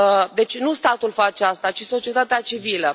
Deci nu statul face asta, ci societatea civilă.